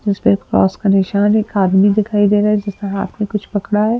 है एक आदमी दिखाई दे रहा है जिसने हाथ में कुछ पकड़ा है।